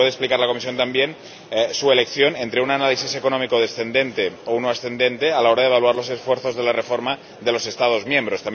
Y, si puede explicar la Comisión, también, su elección entre un análisis económico descendente o uno ascendente a la hora de evaluar los esfuerzos de la reforma de los Estados miembros.